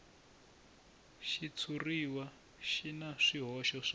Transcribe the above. xitshuriwa xi na swihoxo swo